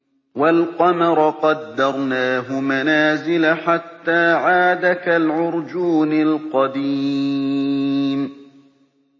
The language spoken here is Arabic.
وَالْقَمَرَ قَدَّرْنَاهُ مَنَازِلَ حَتَّىٰ عَادَ كَالْعُرْجُونِ الْقَدِيمِ